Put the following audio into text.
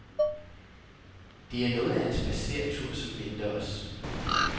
Det er noget af en spadseretur, som venter os.